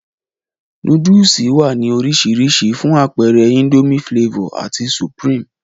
Nóódùsì wá ní orisirisi, fún apeere Indomie Flavor ati supreme